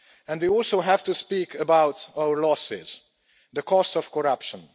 We also have to speak about our losses the cost of corruption.